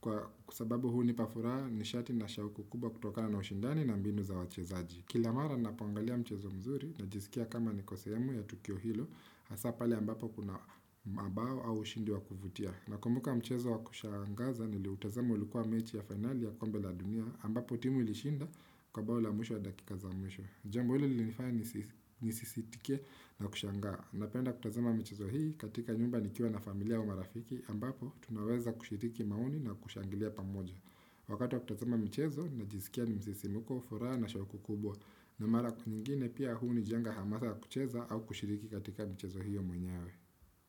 kwa sababu hunipafuraha ni shati na shahuku kubwa kutokana na ushindani na mbinu za wachezaji. Kila mara na poangalia mchezo mzuri na jisikia kama ni ko sehemu ya Tukio Hilo, hasa pale ambapo kuna mabao au ushindi wa kuvutia. Na kumbuka mchezo wa kushangaza niliutazama ulikuwa mechi ya finali ya kombe la dunia, ambapo timu ilishinda kwa bao la mwisho wa dakikaza mwisho. Jambo hili lilinifanya nisisitike na kushangaa. Napenda kutazama michezo hii katika nyumba nikiwa na familia au marafiki ambapo tunaweza kushiriki maoni na kushangilia pamoja. Wakati wa kutazama mchezo najisikia ni msisimuko, furaha na shahuku kubwa. Na mara kwa nyingine pia huu unijenga hamasa ya kucheza au kushiriki katika mchezo hiyo mwenyewe.